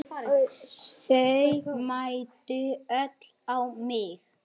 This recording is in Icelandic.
Þau mændu öll á mig.